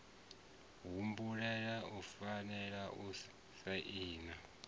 muhumbeli u fanela u saina